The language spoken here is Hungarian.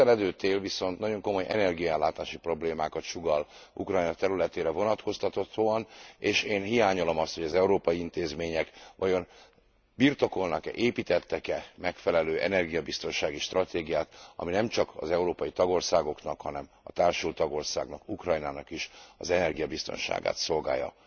A közeledő tél viszont nagyon komoly energiaellátási problémákat sugall Ukrajna területére vonatkoztathatóan és én hiányolom azt, hogy az európai intézmények vajon birtokolnak e, építettek e megfelelő energiabiztonsági stratégiát, ami nemcsak az európai tagországoknak, hanem a társult tagországnak, Ukrajnának is az energiabiztonságát szolgálja.